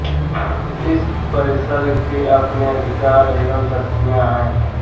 इस परिषद के अपने अधिकार एवं शक्तियां है